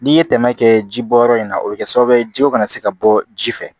N'i ye tɛmɛ kɛ ji bɔ yɔrɔ in na o bɛ kɛ sababu ye jiko kana se ka bɔ ji fɛ